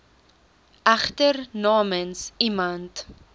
egter namens iemand